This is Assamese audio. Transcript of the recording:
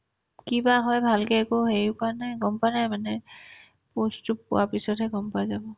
কিবা হয় ভালকে একো হেৰি কোৱা নাই গম পোৱা নাই মানে post তো পোৱাৰ পিছতহে গম পাই যাব